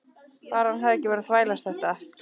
Bara að hann hefði ekki verið að þvælast þetta.